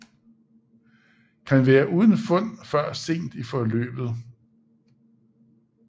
Kan være uden fund før sent i forløbet